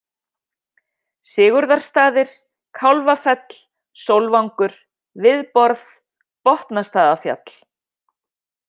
Sigurðarstaðir, Kálfafell - Sólvangur, Viðborð, Botnastaðafjall